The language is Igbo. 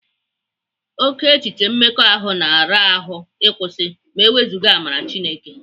Oke echiche mmekọahụ na-ara ahụ ịkwụsị ewezuga amara Chineke.